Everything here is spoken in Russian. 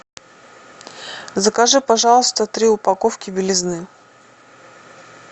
закажи пожалуйста три упаковки белизны